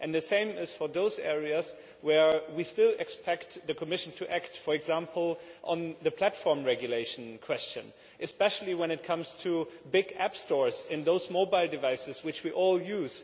And it is the same for those areas where we still expect the Commission to act for example on the platform regulation question, especially when it comes to big app stores for those mobile devices which we all use.